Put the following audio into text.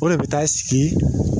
O de bɛ taa sigi.